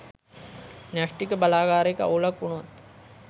න්‍යෂ්ටික බලාගාරයක අවුලක් උනොත්